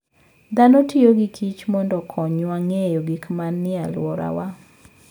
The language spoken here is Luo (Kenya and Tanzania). Dhano tiyo gi kich mondo okonywa ng'eyo gik manie alworawa.